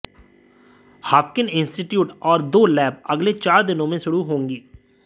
Haffkine institute और दो lab अगले चार दिनों में शुरू होगी